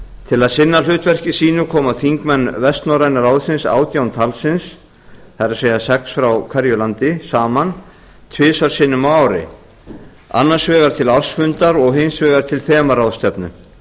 til að sinna hlutverki sínum koma þingmenn vestnorræna ráðsins átján talsins það er sex frá hverju landi saman tvisvar sinnum á ári annar vegar til ársfundar og hins vegar til þemaráðstefnu